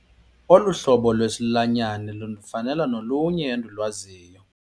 Olu hlobo lwesilwanyana lufana nolunye endilwaziyo.